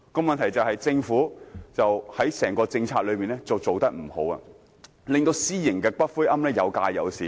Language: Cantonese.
問題在於政府在推行整個政策時做得不好，令私營骨灰龕位有價有市。